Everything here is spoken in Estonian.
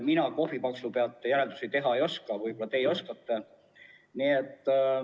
Mina kohvipaksu pealt järeldusi teha ei oska, võib-olla teie oskate.